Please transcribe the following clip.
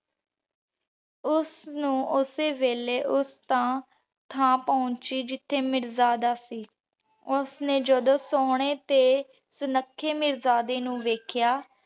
ਓਸ ਨੂ ਓਸੀ ਵੇਲੇ ਓਸ ਤਾ ਥਾਂ ਪੋਹੰਚੀ ਜਿਥੇ ਮਿਰਜਾਦਾ ਸੀ। ਓਸ੍ਜਨੇ ਜਦ ਸੋਹਣੇ ਤੇ ਸੁਨੱਖੇ ਮਿਰ੍ਜ਼ਾਦੇ ਨੂ ਵੇਖ੍ਯਾ